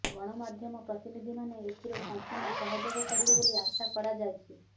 ଗଣମାଧ୍ୟମ ପ୍ରତିନିଧିମାନେ ଏଥିରେ ସମ୍ପୂର୍ଣ୍ଣ ସହଯୋଗ କରିବେ ବୋଲି ଆଶା କରାଯାଇଛି